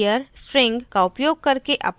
* here string का उपयोग करके अपरकेस में बदलें